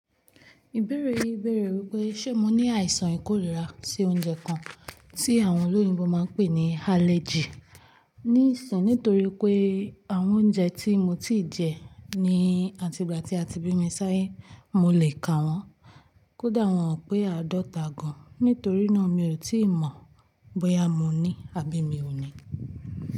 Ìbéèrè yii beere wípé ṣé mo ní àìsàn ikórira sí oúnjẹ kan tí àwọn olóyinbó máa pè ní allergy ní ìsìn nítorí pé àwọn oúnjẹ tí mo ti jẹ ní àtìgbà tí a ti bí mi sáyé mo le kà wọ́n. Kódà wọ́n ò pé aadọ́ta gan. Nítorí náà mi ò tí ì mọ̀ bóyá mo ní àbí mi ò ní.